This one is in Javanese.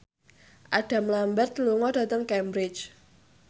Adam Lambert lunga dhateng Cambridge